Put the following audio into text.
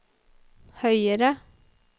høyere